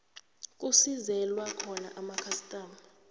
kusizelwa khona amakhastama